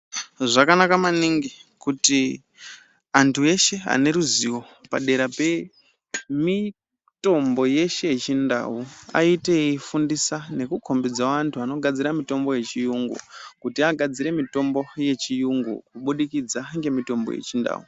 Zvakanaka maningi kuti antu eshe ane ruzivo padera pemitombo yeshe yeChiNdau aite eyifundisa nekukombidzawo vantu vanogadzirawo mitombo yeChiyungu kuti agadzire mitombo yeChiyungu kubudikidza ngemitombo yeChiNdau.